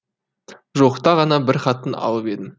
жуықта ғана бір хатын алып едім